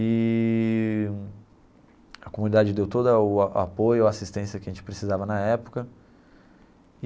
Eee a comunidade deu todo o a apoio, a assistência que a gente precisava na época.